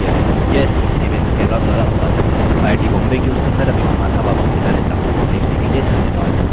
यह स्क्रिप्ट देवेन्द्र कैरवान द्वारा अनुवादित है आईआईटी बॉम्बे की ओर से मैं रवि कुमार अब आपसे विदा लेता हूँ देखने के लिए धन्यवाद